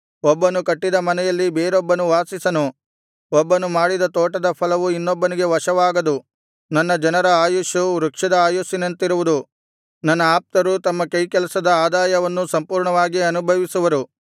ಒಬ್ಬನು ಕಟ್ಟಿದ ಮನೆಯಲ್ಲಿ ಬೇರೊಬ್ಬನು ವಾಸಿಸನು ಒಬ್ಬನು ಮಾಡಿದ ತೋಟದ ಫಲವು ಇನ್ನೊಬ್ಬನಿಗೆ ವಶವಾಗದು ನನ್ನ ಜನರ ಆಯುಸ್ಸು ವೃಕ್ಷದ ಆಯುಸ್ಸಿನಂತಿರುವುದು ನನ್ನ ಆಪ್ತರು ತಮ್ಮ ಕೈಕೆಲಸದ ಆದಾಯವನ್ನು ಸಂಪೂರ್ಣವಾಗಿ ಅನುಭವಿಸುವರು